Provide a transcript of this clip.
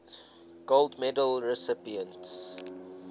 gold medal recipients